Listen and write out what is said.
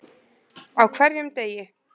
Á hverjum degi.